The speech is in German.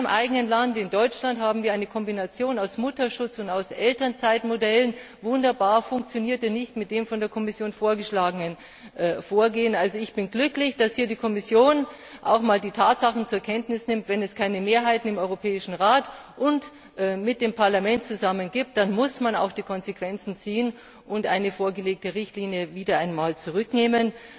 In meinem Land, in Deutschland, haben wir eine Kombination aus Mutterschutz und Elternzeitmodellen wunderbar, das funktionierte aber nicht mit dem von der Kommission vorgeschlagenen Vorgehen. Ich bin glücklich, dass hier die Kommission auch mal die Tatsachen zur Kenntnis nimmt Wenn es keine Mehrheiten im Europäischen Rat und mit dem Parlament zusammen gibt, dann muss man auch die Konsequenzen ziehen und eine vorgelegte Richtlinie wieder zurücknehmen.